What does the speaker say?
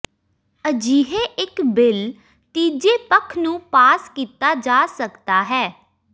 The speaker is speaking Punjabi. ਅਜਿਹੇ ਇਕ ਬਿੱਲ ਤੀਜੇ ਪੱਖ ਨੂੰ ਪਾਸ ਕੀਤਾ ਜਾ ਸਕਦਾ ਹੈ